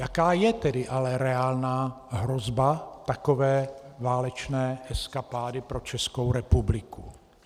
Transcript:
Jaká je tedy ale reálná hrozba takové válečné eskapády pro Českou republiku?